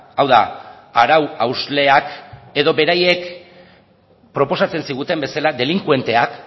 hau da arau hausleak edo beraiek proposatzen ziguten bezala delinkuenteak